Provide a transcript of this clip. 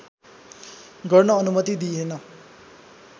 गर्न अनुमति दिइएन